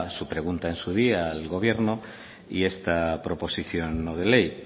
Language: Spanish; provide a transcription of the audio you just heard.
su pregunta en su día al gobierno y esta proposición no de ley